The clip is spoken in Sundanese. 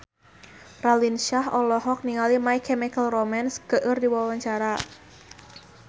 Raline Shah olohok ningali My Chemical Romance keur diwawancara